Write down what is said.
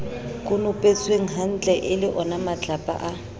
konopetswenghantle e le onamatlapa a